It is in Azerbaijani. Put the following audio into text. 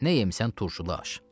Nə yemisən turşulu aş?